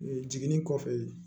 Jiginni kɔfɛ